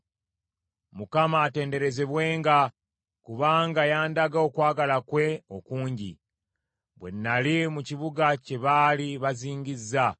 Mukama atenderezebwenga kubanga yandaga okwagala kwe okungi, bwe nnali mu kibuga kye baali bazingizza.